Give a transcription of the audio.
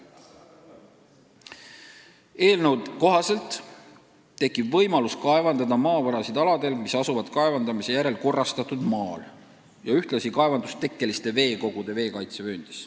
Eelnõu kohaselt tekib võimalus kaevandada maavarasid aladel, mis asuvad kaevandamise järel korrastatud maal ja ühtlasi kaevandustekkeliste veekogude veekaitsevööndis.